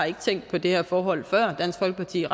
tænkt på det her forhold før dansk folkeparti